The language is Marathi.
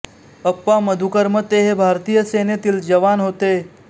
अप्पा मधुकर मते हे भारतीय सेनेतील जनाव होते